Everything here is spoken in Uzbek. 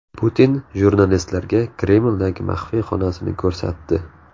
Putin jurnalistlarga Kremldagi maxfiy xonasini ko‘rsatdi.